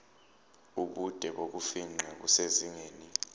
ubude bokufingqa kusezingeni